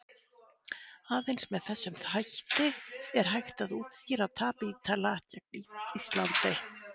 Aðeins með þessum hætti er hægt að útskýra tap Ítala gegn Íslandi.